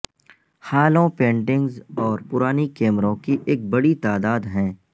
ہالوں paintings اور پرانی کیمروں کی ایک بڑی تعداد ہیں